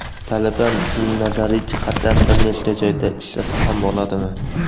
Talaba nazariy jihatdan bir nechta joyda ishlasa ham bo‘ladimi?.